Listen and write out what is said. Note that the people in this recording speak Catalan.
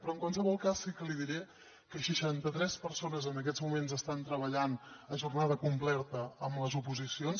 però en qualsevol cas sí que li diré que seixanta tres persones en aquests moments estan treballant a jornada completa amb les oposicions